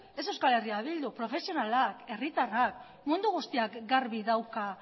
ez eh bildu herritarrak mundu guztiak garbi dauka